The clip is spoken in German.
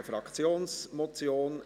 Es ist eine Fraktionsmotion.